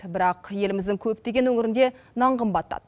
бірақ еліміздің көптеген өңірінде нан қымбаттады